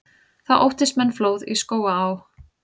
Þá óttist menn flóð í Skógaá.